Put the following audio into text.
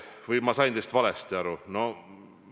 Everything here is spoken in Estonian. Või ma sain teist valesti aru?